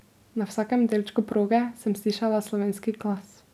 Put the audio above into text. Na vsakem delčku proge sem slišala slovenski glas.